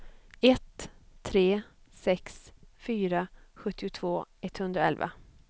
ett tre sex fyra sjuttiotvå etthundraelva